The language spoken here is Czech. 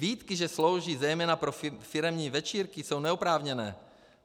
Výtky, že slouží zejména pro firemní večírky, jsou neoprávněné.